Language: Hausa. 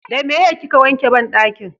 da meye kika wanke banɗaki?